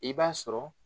I b'a sɔrɔ